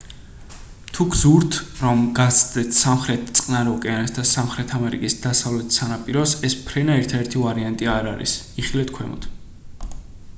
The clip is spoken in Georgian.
თუ გსურთ რომ გასცდეთ სამხრეთ წყნარ ოკეანეს და სამხრეთ ამერიკის დასავლეთ სანაპიროს ეს ფრენა ერთადერთი ვარიანტი არ არის იხილეთ ქვემოთ